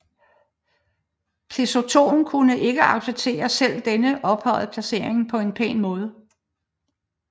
Pleasonton kunne ikke acceptere selv denne ophøjede placering på en pæn måde